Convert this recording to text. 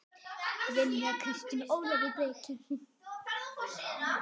Brynja Kristín og Ólafur Breki.